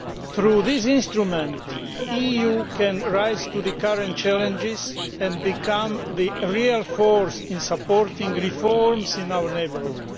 Through this instrument the EU can rise to the current challenges and become the real force in supporting reforms in our neighbourhood.